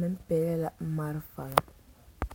meŋ be a o nimitɔɔreŋ ka lɔre lɔɔpelaa be a o puori.